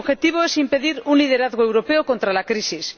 Su objetivo es impedir un liderazgo europeo contra la crisis.